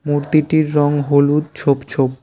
মূর্তিটির রং হলুদ ছোপ ছোপ।